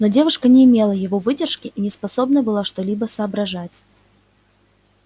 но девушка не имела его выдержки и не способна была что-либо соображать